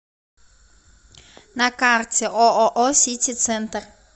на карте ооо сити центр